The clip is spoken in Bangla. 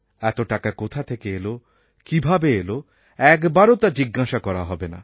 এত টাকা কোথা থেকে এলো কীভাবে এলো একবারও তা জিজ্ঞাসা করা হবে না